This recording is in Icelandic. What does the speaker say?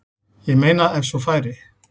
Ég meina ef svo færi.